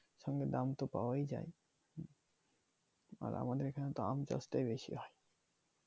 সঙ্গে দাম তো পাওয়াই যায় আর আমাদের এইখানে তো আম চাষ টাই বেশি হয়